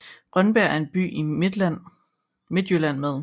Rønbjerg er en by i Midtjylland med